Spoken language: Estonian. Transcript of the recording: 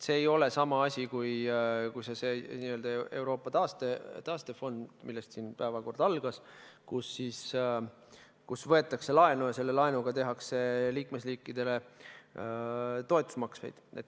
See ei ole sama asi kui see n-ö Euroopa taastefond, millest päevakord algas, kui võetakse laenu ja selle laenuga tehakse liikmesriikidele toetusmakseid.